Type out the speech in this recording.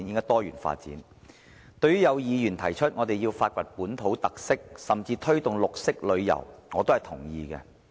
對於有議員提出，我們要發掘本土特色，甚至推動綠色旅遊，我也是同意的。